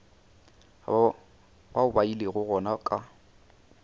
bao ba ilego gona ka